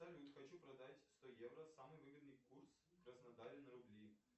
салют хочу продать сто евро самый выгодный курс в краснодаре на рубли